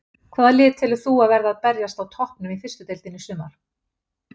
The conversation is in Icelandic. Hvaða lið telur þú að verði að berjast á toppnum í fyrstu deildinni í sumar?